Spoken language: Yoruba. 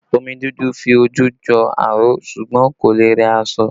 Omi dúdú fi ojú jọ aró ṣùgbọ́n kò lè rẹ aṣọ